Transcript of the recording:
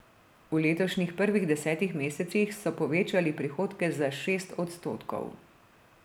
V letošnjih prvih desetih mesecih so povečali prihodke za šest odstotkov.